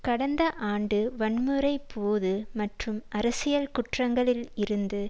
கடந்த ஆண்டு வன்முறை போது மற்றும் அரசியல் குற்றங்களில் இருந்து